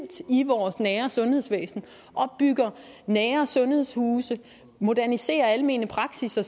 i vores nære sundhedsvæsen og bygger nære sundhedshuse moderniserer almene praksisser